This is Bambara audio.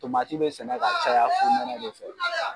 bɛ sɛnɛ ka caya fonɛnɛ de fɛ.